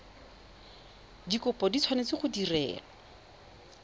dikopo di tshwanetse go direlwa